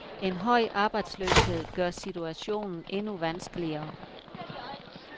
En høj arbejdsløshed gør situationen endnu vanskeligere.